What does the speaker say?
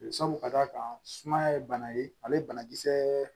Sabu ka d'a kan sumaya ye bana ye ale banakisɛ